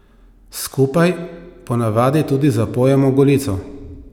Skupaj ponavadi tudi zapojemo Golico.